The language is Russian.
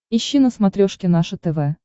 ищи на смотрешке наше тв